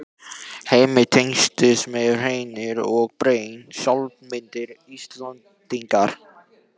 Heimir: Tengjast hreint og beint sjálfsmynd Íslendinga?